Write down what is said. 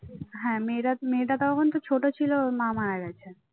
হ্যাঁ মেয়েটা মেয়েটা তখন ছোট ছিল ওর মা মারা গেছে, ওর মা